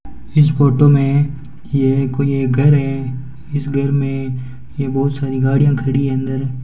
इस फोटो में येह कोई एक घर है इस घर में ये बहोत सारी गाड़ियां खड़ी है अंदर।